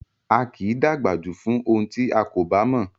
A kì í dàgbà jù fún ohun tí a kò bá mọ̀